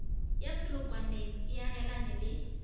ya selokwaneng e agelane le